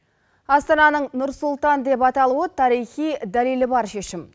астананың нұр сұлтан деп аталуы тарихи дәлелі бар шешім